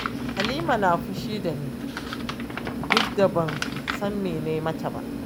Halima na fushi da ni, duk da ban san me na yi mata ba